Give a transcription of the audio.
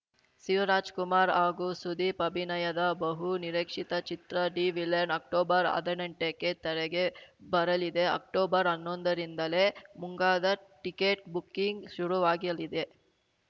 ಶಿವರಾಜ್‌ಕುಮಾರ್‌ ಹಾಗೂ ಸುದೀಪ್‌ ಅಭಿನಯದ ಬಹು ನಿರೀಕ್ಷಿತ ಚಿತ್ರ ದಿ ವಿಲನ್‌ ಅಕ್ಟೋಬರ್‌ ಹದಿನೆಂಟಕ್ಕೆ ತೆರೆಗೆ ಬರಲಿದೆ ಅಕ್ಟೋಬರ್‌ ಹನ್ನೊಂದರಿಂದಲೇ ಮುಂಗಾದ ಟಿಕೆಟ್‌ ಬುಕ್ಕಿಂಗ್‌ ಶುರುವಾಗ್ಯಲಿದೆ